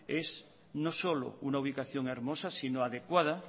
es no solo una ubicación hermosa sino adecuada